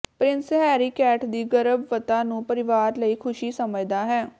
Prince Harry Kate ਦੀ ਗਰਭਤਾ ਨੂੰ ਪਰਿਵਾਰ ਲਈ ਖੁਸ਼ੀ ਸਮਝਦਾ ਹੈ